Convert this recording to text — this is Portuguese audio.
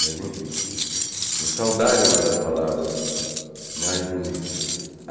Mas enfim, saudade é uma das palavras mais bonitas.